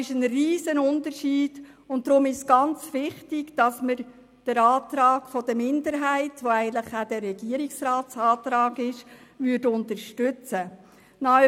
Deshalb ist es wichtig, den Minderheitsantrag, welcher dem Antrag der Regierung entspricht, zu unterstützen.